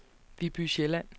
Viby Sjælland